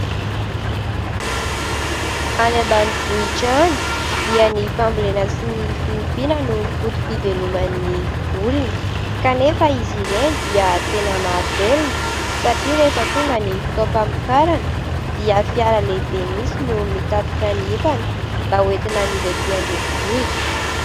Any ambanivohitra any dia ny fambolena sy ny fiompiana no fotom-piveloman'ny olona; kanefa izy ireny dia tena mahavelona satria rehefa tonga ny fotoam-pamokarana dia fiara lehibe mihitsy no mitatitra ny etana mba ho entina amidy aty an-drenivohitra.